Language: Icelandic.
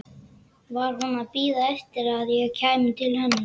Var hún að bíða eftir að ég kæmi til hennar?